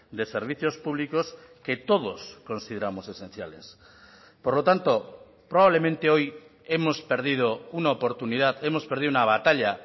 de servicios públicos que todos consideramos esenciales por lo tanto probablemente hoy hemos perdido una oportunidad hemos perdido una batalla